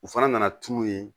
U fana nana tunu yen